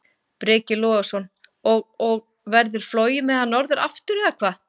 Breki Logason: Og, og verður flogið með hann norður aftur, eða hvað?